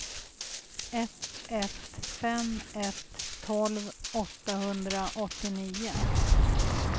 ett ett fem ett tolv åttahundraåttionio